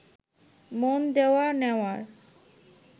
মন দেওয়া নেওয়ার